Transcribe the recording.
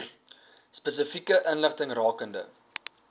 spesifieke inligting rakende